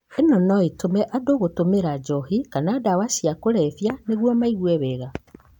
Ĩno no ĩtũme andũ gũtũmĩra njohi kana ndawa cia kũrevia nĩguo maigue wega